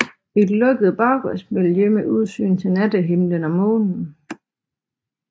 Et lukket baggårdsmiljø med udsyn til nattehimlen og månen